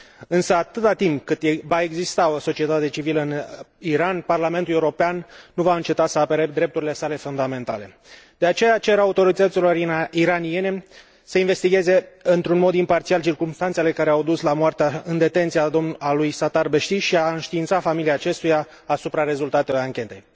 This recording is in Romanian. Însă, atâta timp cât va exista o societate civilă în Iran, Parlamentul European nu va înceta să apere drepturile sale fundamentale. De aceea, cer autorităților iraniene să investigheze într un mod imparțial circumstanțele care au dus la moartea în detenție a lui Sattar Beheshti și să înștiințeze familia acestuia asupra rezultatelor anchetei.